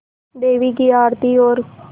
देवी की आरती और